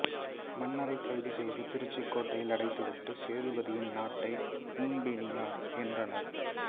மன்னரைக் கைது செய்து திருச்சிக் கோட்டையில் அடைத்துவிட்டு சேதுபதியின் நாட்டை கும்பெனியார் ஏற்றனர்